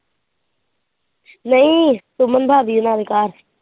ਨਹੀਂ ਸੁਮਨ ਭਾਬੀ ਦੇ ਨਾਲ ਘਰ।